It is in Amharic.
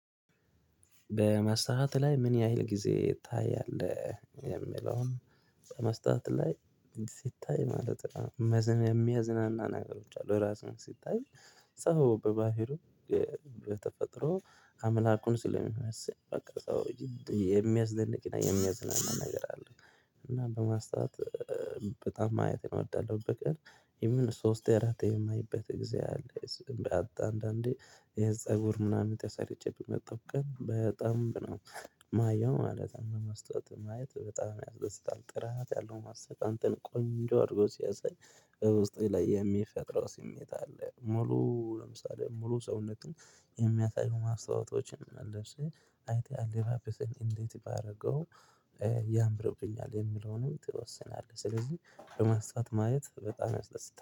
በመስተዎት ላይ ምን ያህል ጊዜ ታያለህ የሚለውን? በመስተዎት ላይ ሲታይ ማለት የሚያዝናና ነገሮች አሉ ራስህን ሲታይ። ሰው በባህሩ በተፈጥሮ አምላኩን ስለሚመስል በቃ ሰው የሚያስደንቅ የሚያዝናና ነገር አለ እና በማስታወት በጣም ማየት እወዳለሁ። በቀን ኢቭን ሶስቴ አራቴ የማይበት ጊዜ አለ እሱንም አንዳንዴ የፀጉር ምናምን ተሰርቼ ምመጣሁ ቀን በደንብ ነው ማየው ማለት ነው። መስታወት ማየት በጣም ያስደስታል ጥራት ያለው መሰተወት አንተን ቆንጆ አድርጎ ሲያሳይ በውስጤ ላይ የሚፈጥረው ስሜት አለ። ሙሉ ለምሳሌ ሙሉ ሰውነቱን የሚያሳዩ ማስታወቶችን መልሼ አይተህ አለባበሴን እንዴት ባደርገው ያምርብኛል የሚለውንም ትወስናለህ። ስለዚህ በማስታወት ማየት በጣም